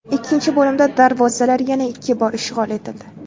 Ikkinchi bo‘limda darvozalar yana ikki bor ishg‘ol etildi.